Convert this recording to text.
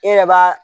E yɛrɛ b'a